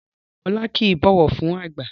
Rárá Ọlá kìí bọ̀wọ̀ fún àgbà